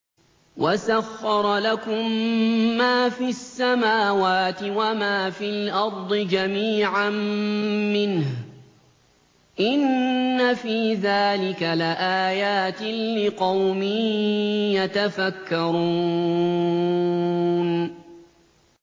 وَسَخَّرَ لَكُم مَّا فِي السَّمَاوَاتِ وَمَا فِي الْأَرْضِ جَمِيعًا مِّنْهُ ۚ إِنَّ فِي ذَٰلِكَ لَآيَاتٍ لِّقَوْمٍ يَتَفَكَّرُونَ